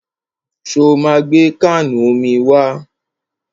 Ṣo ma gbé káànù omi wá?